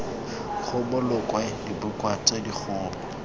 go bolokwe dibuka tse dikgolo